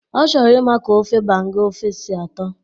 Ọ chọrọ ịma ka ofe banga ofe si atọ